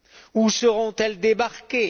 Où seront elles débarquées?